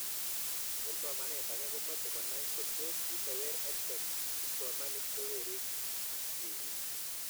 Eng' somanet ake komache konai Kotos kitewer EdTech kipsomanik che werik ak tipik